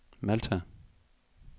Malta